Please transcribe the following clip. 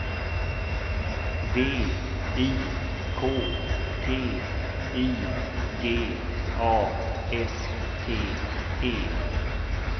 V I K T I G A S T E